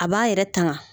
A b'a yɛrɛ tanga